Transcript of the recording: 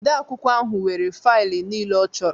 Odeakwụkwọ ahụ nwere faịlụ niile ọ chọrọ